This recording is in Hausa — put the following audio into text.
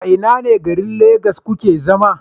A ina ne garin lagos kuke zama?